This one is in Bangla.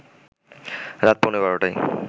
রাত পৌনে ১২টায়